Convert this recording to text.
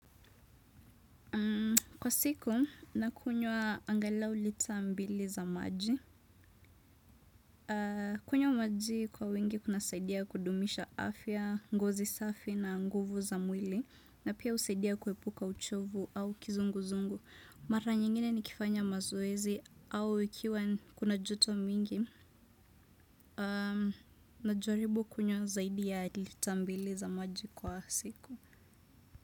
Kwa siku, nakunywa angalau lita mbili za maji. Kunywa maji kwa wingi kuna saidia kudumisha afya, ngozi safi na nguvu za mwili. Na pia usaidia kuhepuka uchovu au kizungu zungu. Mara nyingine ni kifanya mazoezi au ikiwa kuna joto mingi. Najaribu kunywa zaidi ya liter mbili za maji kila siku.